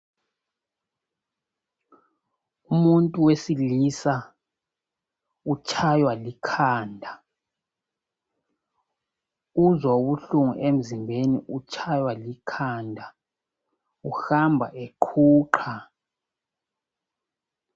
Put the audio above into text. Umuntu wesilisa utshaywa likhanda. Uzwa ubuhlungu emzimbeni utshaywa likhanda uhamba eqhuqha.